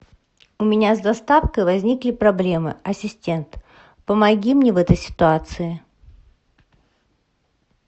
у меня с доставкой возникли проблемы ассистент помоги мне в этой ситуации